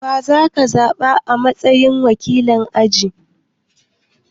Wa za ka zaɓa a matsayin wakilin aji?